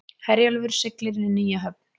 Herjólfur siglir inn í nýja höfn